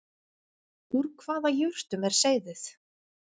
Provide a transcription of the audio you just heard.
Úr hvaða jurtum er seyðið